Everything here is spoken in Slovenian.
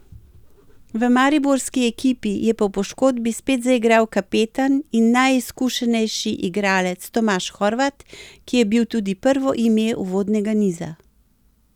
V mariborski ekipi je po poškodbi spet zaigral kapetan in najizkušenejši igralec Tomaž Horvat, ki je bil tudi prvo ime uvodnega niza.